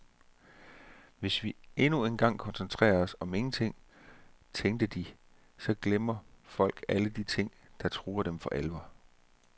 Hvis vi endnu en gang koncentrerer os om ingenting, tænkte de, så glemmer folk alle de ting, der truer dem for alvor.